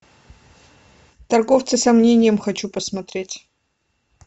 торговцы сомнением хочу посмотреть